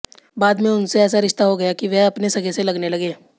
बाद में उनसे ऐसा रिश्ता हो गया कि वह अपने सगे से लगने लगे